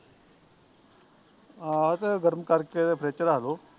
ਆਹੋ ਤੇ ਗਰਮ ਕਰਕੇ ਤੇ ਫਰਿੱਜ ਰੱਖਦੋ